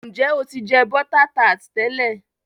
Njẹ o tí jẹ bota tart tẹlẹ?